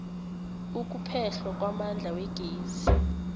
ukuphehlwa kwamandla wegezi